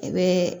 I bɛ